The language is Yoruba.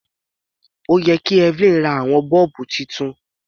Ó yẹ kí Evelyn ra àwọn bọ́ọ̀bù titun.